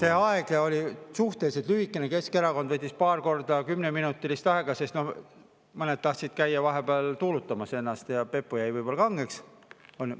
See aeg oli suhteliselt lühike, Keskerakond võttis paar korda kümneminutilist aega, sest mõned tahtsid käia vahepeal tuulutamas ennast ja pepu jäi võib-olla kangeks, on ju.